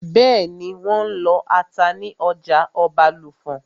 Bẹ́ẹ̀nì, wọ́n n lọ ata ní ọjà Ọbàlùfọ̀n